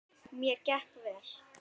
Mér gekk vel.